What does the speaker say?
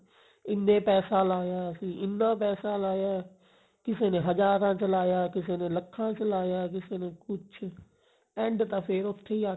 ਇੰਨੇ ਪੈਸਾ ਲਾਇਆ ਅਸੀਂ ਇੰਨਾ ਪੈਸਾ ਲਾਇਆ ਕਿਸੇ ਨੇ ਹਜਾਰਾ ਚ ਲਾਇਆ ਕਿਸੇ ਨੇ ਲੱਖਾਂ ਚ ਲਾਇਆ ਕਿਸੇ ਨੇ ਕੁੱਛ end ਤਾਂ ਫੇਰ ਉੱਥੇ ਹੀ ਆਕੇ